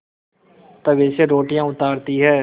तवे से रोटियाँ उतारती हैं